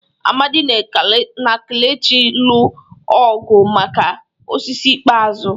Amadi na kelechi lụ ọgụ maka osisi ikpeazụ.